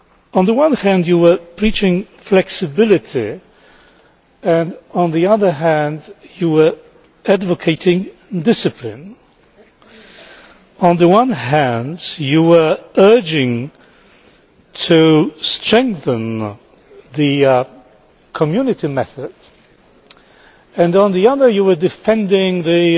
On the one hand, Mr Juncker, you were preaching flexibility, and on the other hand you were advocating discipline. On the one hand you were urging to strengthen the Community method, and on the other you were defending the